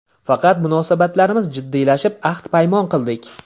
Faqat munosabatlarimiz jiddiylashib, ahd-paymon qildik.